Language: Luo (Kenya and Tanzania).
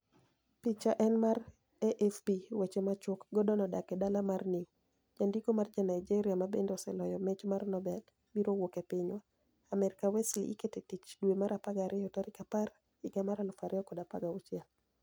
Picha eni mar, AFP Weche machuok, Gordoni odak e dala mar ni ew janidiko ma ja niigeria ma benide oseloyo mich mar nobel, biro wuok e piniywa Amerka Wesly iketo e tich dwe mar apar gi ariyo 10, 2016 .